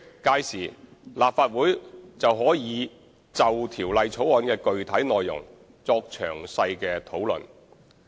屆時，立法會可就條例草案的具體內容作詳細討論。